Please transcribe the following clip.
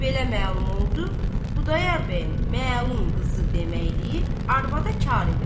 Belə məlum oldu, Xudayar bəyin məlun qızı deməkliyi arvada kar elədi.